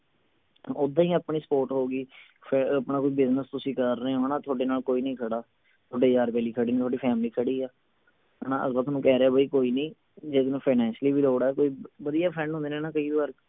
ਉੱਦਾਂ ਹੀ ਆਪਣੀ support ਹੋ ਗਈ ਫੇਰ ਆਪਣਾ ਕੋਈ business ਤੁਸੀਂ ਕਰ ਰਹੇ ਹੋ ਨਾ ਹਣਾ ਥੋਡੇ ਨਾਲ ਕੋਈ ਨਹੀਂ ਖੜਾ ਥੋਡੇ ਯਾਰ ਬੇਲੀ ਖੜੇ ਨੇ ਥੋਡੀ family ਖੜੀ ਆ ਹਣਾ ਅਗਲਾ ਥੋਨੂੰ ਕਹਿ ਰਿਹੇ ਬਈ ਕੋਈ ਨੀ ਜੇ ਤੈਨੂੰ finacially ਵੀ ਲੋੜ ਆ ਕੋਈ ਵਧੀਆ friend ਹੁੰਦੇ ਨੇ ਨਾ ਕਈ ਵਾਰ